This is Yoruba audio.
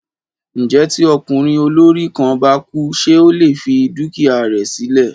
Ǹjẹ́ tí ọkùnrin ọlọ́rọ̀ kan bá kú ṣé ó lè fi dúkìá rẹ sí lẹ̀?